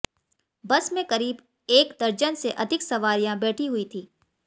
बस में करीब एक दर्जन से अधिक सवारियां बैठी हुई थी